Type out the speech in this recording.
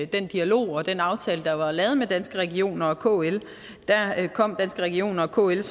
den dialog og den aftale der var lavet med danske regioner og kl kom danske regioner og kl